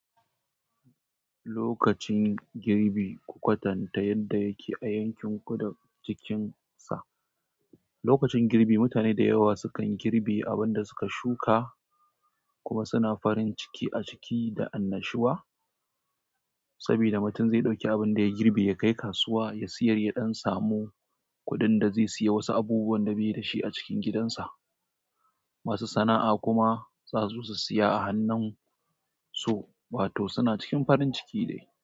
Lokacin girbi, ku kwatanta yadda yake a yankin ku da cikinsa. Lokacin girbi, mutane da yawa sukan girbe abin da suka shuka kuma suna farin ciki a ciki da annashuwa saboda mutum zai ɗauki abin da ya girbe ya kai kasuwa ya siyar ya d'an samu kuɗin da zai siya wasu abubuwan da bai da shi a cikin gidansa. Masu sana'a kuma za su siya a hannun su, wato suna cikin farin ciki dai.